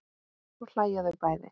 Svo hlæja þau bæði.